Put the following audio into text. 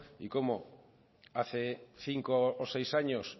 y como hace cinco o seis años